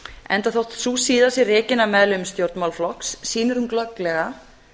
enda þótt sú síða sé rekin af meðlimum stjórnmálaflokks sýnir hún glögglega